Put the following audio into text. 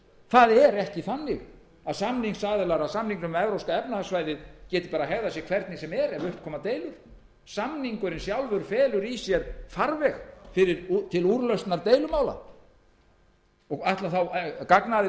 það er ekki þannig að samningsaðilar að samningnum um evrópska efnahagssvæðið geti hegðað sér hvernig sem er ef upp koma deilur samningurinn sjálfur felur í sér farveg til úrlausnar deilumála ætlar þá gagnaðili okkar að láta